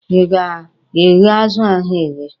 Ị ga-eghe azụ ahụ eghe?